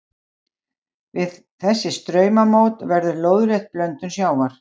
Við þessi straumamót verður lóðrétt blöndun sjávar.